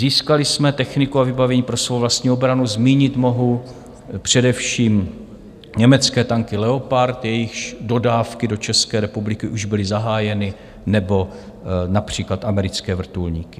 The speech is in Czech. Získali jsme techniku a vybavení pro svou vlastní obranu, zmínit mohu především německé tanky Leopard, jejichž dodávky do České republiky už byly zahájeny, nebo například americké vrtulníky.